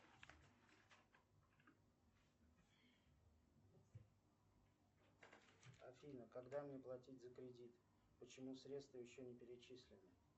афина когда мне платить за кредит почему средства еще не перечислены